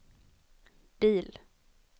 bil